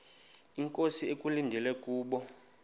inkosi ekulindele kubo